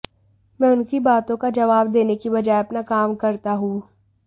मैं उनकी बातों का जवाब देने की बजाय अपना काम करता हूं